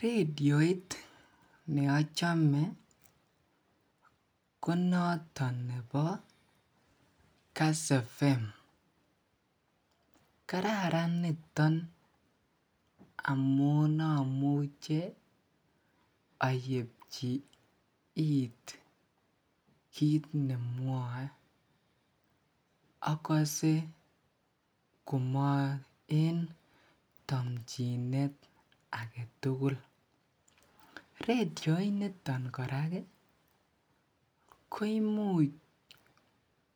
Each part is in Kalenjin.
redioit neochome ko notoon nebo Kass frequency modulation ,kararan niton amuun omuche ayepchi iit kiit nemwoe agose komoen tompchinet agetugul, radioit niton koraa iih koimuch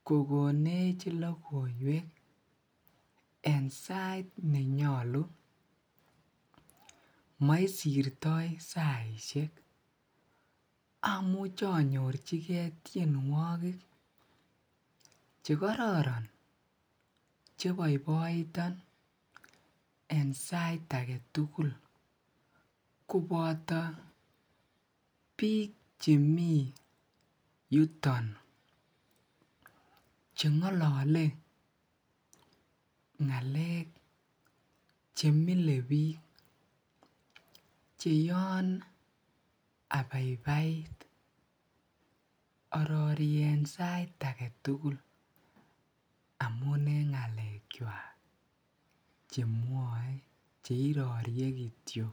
kogonech logoiweek en sait nenyolu moisirtoi saisiek amuche anyorchigee tyenwogik chegororon cheboiboiton en sait agetul koboto biik chemii yuton chengolole ngaleek chemile biik, cheyoon abaibait orori en sait agetul amuun en ngaleek chwaak chemwoe cheirorie kityo.